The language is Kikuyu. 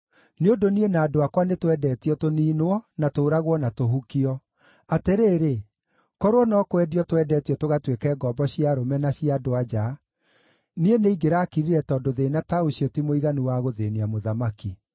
Nĩ ũndũ niĩ na andũ akwa nĩtwendetio tũniinwo, na tũũragwo na tũhukio. Atĩrĩrĩ, korwo no kwendio twendetio tũgatuĩke ngombo cia arũme, na cia andũ-a-nja, niĩ nĩingĩrakirire tondũ thĩĩna ta ũcio ti mũiganu wa gũthĩĩnia mũthamaki.”